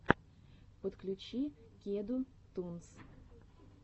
подключи кеду тунс